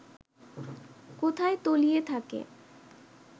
কোথায় তলিয়ে থাকে